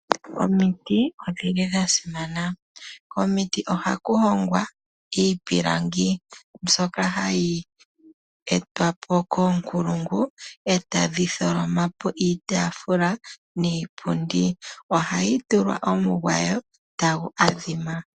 Omiti odhili dha simana, komiti ohaku hongwa iipilangi mbyoka hayi etwa po koonkulungu etadhi tholoma po iitaafula niipundi. Ohai tulwa omugwayo tagu adhima.